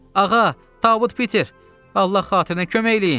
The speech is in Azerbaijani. Ağa, Tabut Piter, Allah xatirinə kömək eləyin!